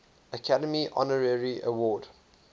academy honorary award